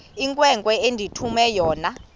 inkwenkwe endithume yona